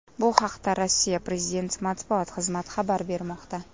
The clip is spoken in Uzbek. Bu haqda Rossiya prezidenti matbuot xizmati xabar bermoqda .